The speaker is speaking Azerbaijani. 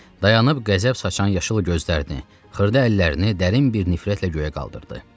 Dayanıb qəzəb saçan yaşıl gözlərini, xırda əllərini dərin bir nifrətlə göyə qaldırdı.